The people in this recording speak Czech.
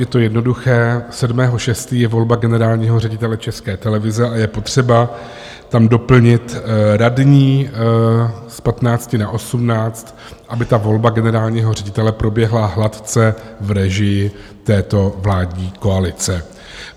Je to jednoduché: 7. 6. je volba generálního ředitele České televize a je potřeba tam doplnit radní z 15 na 18, aby volba generálního ředitele proběhla hladce v režii této vládní koalice.